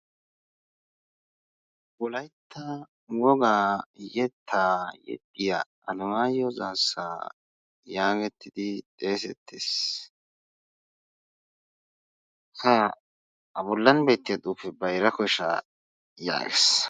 wolaytta woga yetta yeexxiya Alimayyo Zaassa yaagettidi xessettees; a bollan beettiya xuufe bayra koyshsha yaagees.